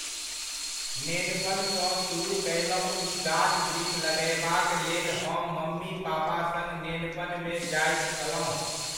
नेनपन सऽ सुरूह कयलहुँ ई गाछ वृक्ष लगएबाक लेल हम मम्मी पापा सङ्ग नेनपनमे जाइत छलहुँ।